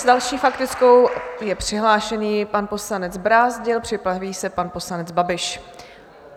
S další faktickou je přihlášený pan poslanec Brázdil, připraví se pan poslanec Babiš.